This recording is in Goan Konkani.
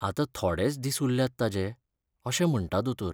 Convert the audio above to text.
आतां थोडेच दिस उरल्यात ताजे अशें म्हणटा दोतोर.